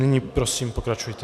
Nyní prosím pokračujte.